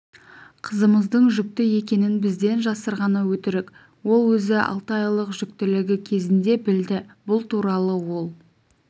қызымыздың жүкті екенін бізден жасырғаны өтірік ол өзі алты айлық жүктілігі кезінде білді бұл туралы ол